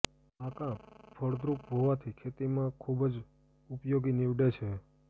આ કાંપ ફળદ્રુપ હોવાથી ખેતીમાં ખૂબ જ ઉપયોગી નીવેડે છે